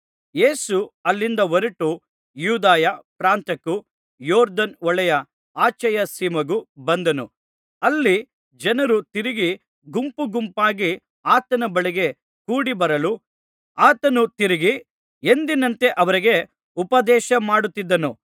ಯೇಸು ಅಲ್ಲಿಂದ ಹೊರಟು ಯೂದಾಯ ಪ್ರಾಂತ್ಯಕ್ಕೂ ಯೊರ್ದನ್ ಹೊಳೆಯ ಆಚೆಯ ಸೀಮೆಗೂ ಬಂದನು ಅಲ್ಲಿ ಜನರು ತಿರುಗಿ ಗುಂಪುಗುಂಪಾಗಿ ಆತನ ಬಳಿಗೆ ಕೂಡಿ ಬರಲು ಆತನು ತಿರುಗಿ ಎಂದಿನಂತೆ ಅವರಿಗೆ ಉಪದೇಶಮಾಡುತ್ತಿದ್ದನು